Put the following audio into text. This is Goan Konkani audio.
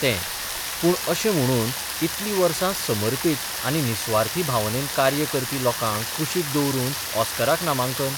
तें पूण अशें म्हणून इतलीं वस समर्पींत आनी निसुवार्थी भावनेन कार्य करपी लोकांक कुशीक दवरून ऑस्कराक नामांकन?